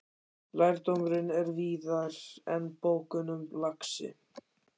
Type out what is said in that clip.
Lærdómurinn er víðar en í bókunum, lagsi.